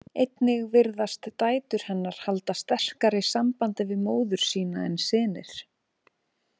Einnig virðast dætur hennar halda sterkari sambandi við móður sína en synir.